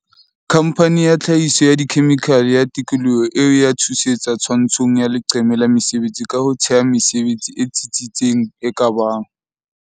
khamphane ya tlha hiso ya dikhemikhale ya tikoloho eo e a thusetsa twantsho ng ya leqeme la mesebetsi ka ho thea mesebetsi e tsi tsitseng e ka bang